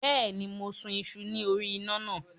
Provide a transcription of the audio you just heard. Bẹ́ẹ̀ni, mò ń sun iṣu ní orí iná náà.